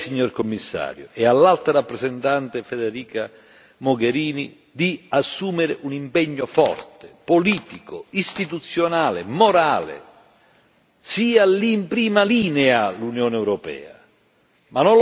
Ecco perché io chiedo a lei, signor Commissario e all'Alto rappresentante, Federica Mogherini, di assumere un impegno forte, politico, istituzionale e morale. L'Unione europea sia lì in prima linea!